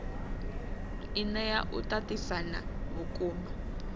i nea u tatisana vhukuma